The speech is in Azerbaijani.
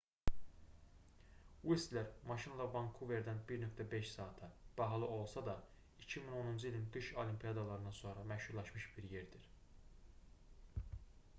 uistler maşınla vankuverdən 1,5 saata bahalı olsa da 2010-cu ilin qış olimpiyadalarından sonra məşhurlaşmış bir yerdir